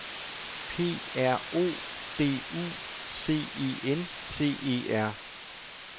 P R O D U C E N T E R